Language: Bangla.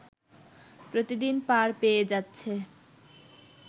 প্রতিদিন পার পেয়ে যাচ্ছে